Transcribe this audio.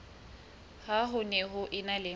ha ho ne ho ena